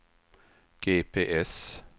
GPS